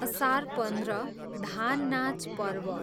असार पन्ध्र, धान नाच पर्व